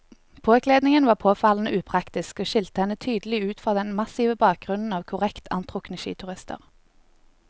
Påkledningen var påfallende upraktisk og skilte henne tydelig ut fra den massive bakgrunnen av korrekt antrukne skiturister.